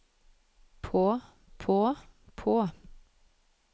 på på på